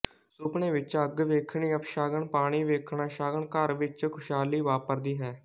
ਸੁਪਨੇ ਵਿੱਚ ਅੱਗ ਵੇਖਣੀ ਅਪਸ਼ਗਨ ਪਾਣੀ ਵੇਖਣਾ ਸ਼ਗਨ ਘਰ ਵਿੱਚ ਖੁਸ਼ਹਾਲੀ ਵਾਪਰਦੀ ਹੈ